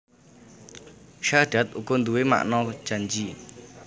Sahadat uga nduwé makna janji